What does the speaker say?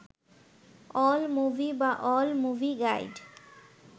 AllMovie বা all movie guide